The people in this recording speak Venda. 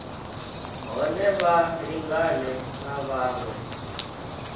hone vha lingane na vhaṅwe